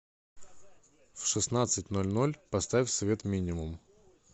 в шестнадцать ноль ноль поставь свет минимум